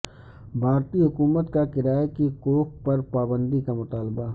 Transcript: بھارتی حکومت کا کرائے کی کوکھ پر پابندی کا مطالبہ